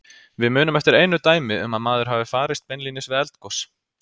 Við munum eftir einu dæmi um að maður hafi farist beinlínis við eldgos.